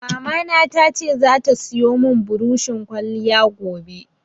Mamana ta ce zata siyo mun buroshin ƙwaliya gobe